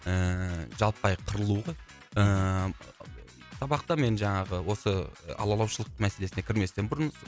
ііі жаппай қырылу ғой ііі сабақта мен жаңағы осы алалаушылық мәселесіне кірместен бұрын